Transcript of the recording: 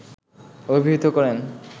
অভিহিত করেন